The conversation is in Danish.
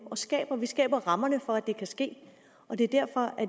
og skaber vi skaber rammerne for at det kan ske og det er derfor